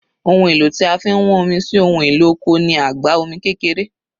Ohun èlò tí a fi ń wán omi sí ohun èlò oko ni àgbá omi kékeré